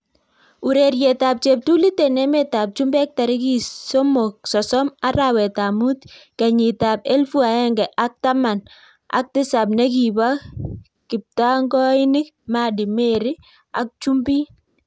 Urereiet AP cheptulit eng emet ab chumbek tarikit sosom arawet ab Mut kenyit ab elfu aeng ak taman ak tisap nekibo kiptangoinik Maddy ,Mary ak chumbin